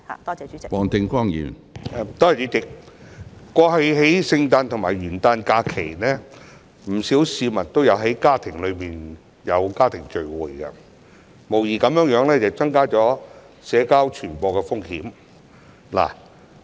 主席，在過去的聖誕和元旦假期，不少市民也有參加家庭聚會，無疑增加了社交傳播的風險。